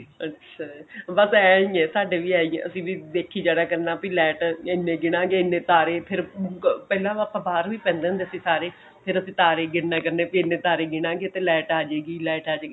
ਅੱਛਾ ਬਸ ਐਂ ਈ ਐਂ ਸਾਡੇ ਵੀ ਐਂ ਈ ਐਂ ਅਸੀਂ ਵੀ ਦੇਖੀ ਜਾਇਆ ਕਰਨਾ ਵੀ light ਇਹਨੇ ਗਿਨਾਗੇ ਇਹਨੇ ਤਾਰੇ ਫੇਰ ਪਹਿਲਾਂ ਆਪਾਂ ਬਾਹਰ ਵੀ ਪੈਂਦੇ ਹੁੰਦੇ ਸੀ ਸਾਰੇ ਫੇਰ ਅਸੀਂ ਤਾਰੇ ਗਿਣ ਨਿਆ ਕਰਨੇ ਵੀ ਇਹਨੇ ਤਾਰੇ ਗਿਨਾਗੇ light ਆ ਜੇਗੀ light ਆ ਜੇਗੀ